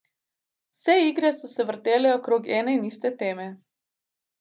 Vse igre so se vrtele okrog ene in iste teme.